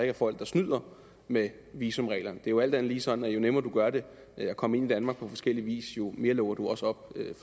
er folk der snyder med visumreglerne det er jo alt andet lige sådan at jo nemmere du gør det at komme ind i danmark på forskellig vis jo mere lukker du også op